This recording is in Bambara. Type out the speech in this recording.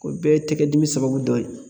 O bɛɛ ye tɛgɛ dimi sababu dɔ ye.